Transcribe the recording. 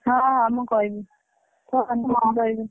ହଁ ହଁ ମୁଁ କହିବି।